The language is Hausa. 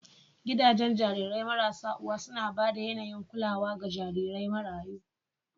Gidajen jarirai marasa uwa suna ba da yAnayin kulawa ga jarirai marayu